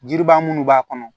Jiri baa minnu b'a kɔnɔ